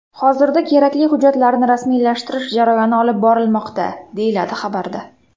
Hozirda kerakli hujjatlarni rasmiylashtirish jarayoni olib borilmoqda”, deyiladi xabarda.